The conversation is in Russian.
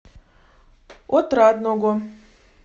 отрадного